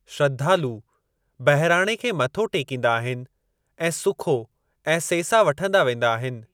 श्रद्धालु बहिराणे खे मथो टेकींदा आहिनि ऐं सुखो ऐं सेसा वठंदा वेंदा आहिनि।